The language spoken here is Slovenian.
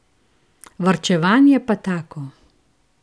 Varčevanje pa tako!